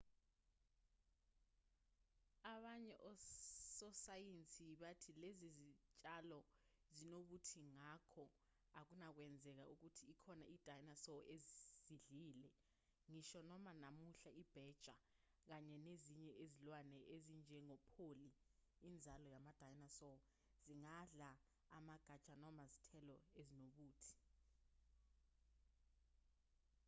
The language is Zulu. abanye ososayensi bathi lezi zitshalo zinobuthi ngakho akunakwenzeka ukuthi ikhona i-dinosaur ezidlile ngisho noma namuhla ibheja kanye nezinye izilwane ezinjengopholi inzalo yama-dinosaur zingadla amagatsha noma izithelo ezinobuthi